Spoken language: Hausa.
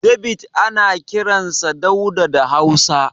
David ana kiransa Dauda da Hausa.